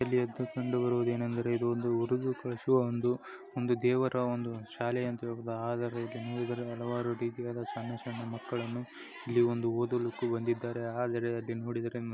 ಇಲ್ಲಿ ಕಂಡುಬರುವುದು ಏನೆಂದರೆ ಇದು ಒಂದು ಹುಡುಗರೂ ದೇವರ ಒಂದು ಶಾಲೆ ಅಂತ ಹೇಳಬಹುದು ಹೂದುವುದಕ್ಕೆ ಆದರೆ ಇಲ್ಲಿ ಹಲವಾರು ರೀತಿಯ ಒಂದು ಸಣ್ಣ ಸಣ್ಣ ಮಕ್ಕಳು ಇಲ್ಲಿ ಒಂದು ಓದೋದಿಕ್ಕೆ ಬಂದಿದ್ಧರೆ ಆದರೆ--